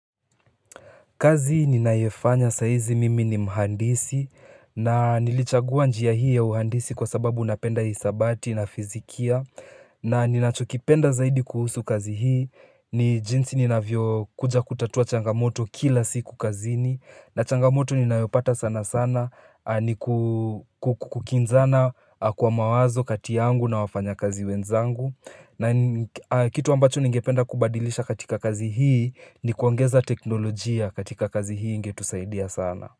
Kazi ninayofanya saa hizi mimi ni mhandisi na nilichagua njia hii ya uhandisi kwa sababu napenda hisabati na fizikia na ninachokipenda zaidi kuhusu kazi hii. Ni jinsi ninavyo kuja kutatua changamoto kila siku kazini na changamoto ninayopata sana sana ni kukinzana kwa mawazo kati yangu na wafanyakazi wenzangu. Na kitu ambacho ningependa kubadilisha katika kazi hii ni kuongeza teknolojia katika kazi hii ingetusaidia sana.